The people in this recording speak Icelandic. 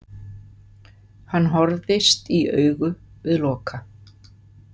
Hann horfðist í augu við Loka.